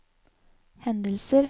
hendelser